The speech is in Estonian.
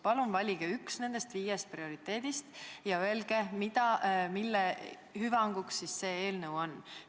Palun valige üks nendest viiest prioriteedist ja öelge, mille hüvanguks see eelnõu mõeldud on.